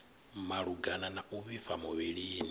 malugana na u vhifha muvhilini